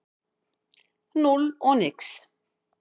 Núll og nix.